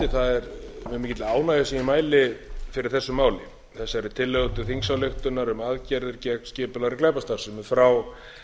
með mikilli ánægju sem ég mæli fyrir þessu máli þessari tillögu til þingsályktunar um aðgerðir gegn skipulagðri glæpastarfsemi frá